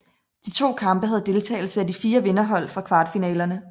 De to kampe havde deltagelse af de fire vinderhold fra kvartfinalerne